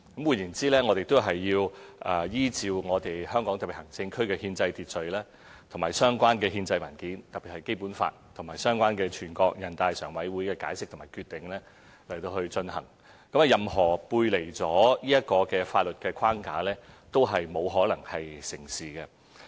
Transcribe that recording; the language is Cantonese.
換言之，是要依照香港特別行政區的憲制秩序及相關的憲制文件，特別是《基本法》及相關的全國人大常委會的解釋和決定去進行，任何背離這個法律框架的方案，都不可能成事。